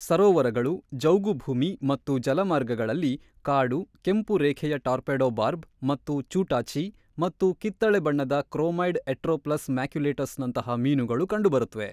ಸರೋವರಗಳು, ಜೌಗುಭೂಮಿ ಮತ್ತು ಜಲಮಾರ್ಗಗಳಲ್ಲಿ ಕಾಡು, ಕೆಂಪು ರೇಖೆಯ ಟಾರ್ಪೆಡೊ ಬಾರ್ಬ್ ಮತ್ತು ಚೂಟಾಚಿ ಮತ್ತು ಕಿತ್ತಳೆ ಬಣ್ಣದ ಕ್ರೋಮೈಡ್-ಎಟ್ರೋಪ್ಲಸ್ ಮ್ಯಾಕ್ಯುಲೇಟಸ್‌ನಂತಹ ಮೀನುಗಳು ಕಂಡುಬರುತ್ತವೆ.